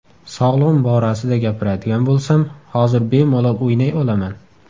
Sog‘lig‘im borasida gapiradigan bo‘lsam, hozir bemalol o‘ynay olaman.